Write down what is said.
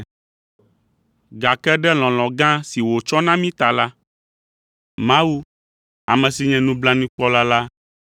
Gake ɖe lɔlɔ̃ gã si wòtsɔ na mí ta la, Mawu, ame si nye nublanuikpɔla la